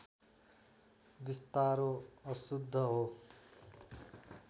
विस्तारो अशुद्ध हो